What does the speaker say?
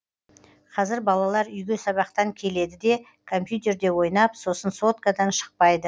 қазір балалар үйге сабақтан келеді де компьютерде ойнап сосын соткадан шықпайды